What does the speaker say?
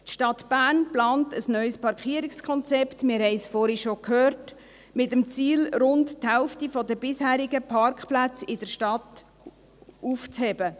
Wie wir vorhin bereits gehört haben, plant die Stadt Bern ein neues Parkierungskonzept, mit dem Ziel, rund die Hälfte der bisherigen Parkplätze in der Stadt aufzuheben.